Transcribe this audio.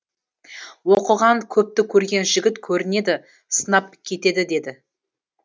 оқыған көпті көрген жігіт көрінеді сынап кетеді деді